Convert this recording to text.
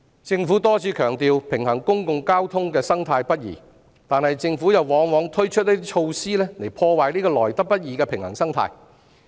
政府多次強調平衡公共交通的生態不易，但政府往往推出一些措施破壞這個來得不易的平衡生態。